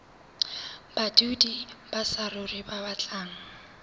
badudi ba saruri ba batlang